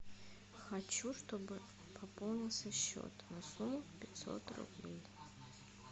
хочу чтобы пополнился счет на сумму пятьсот рублей